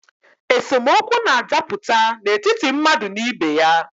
Esemokwu na-adaputa n’etiti mmadụ na ibe ya